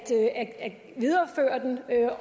til at videreføre den